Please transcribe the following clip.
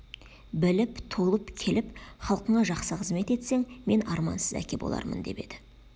біліп толып келіп халқыңа жақсы қызмет етсең мен армансыз әке болармын деп еді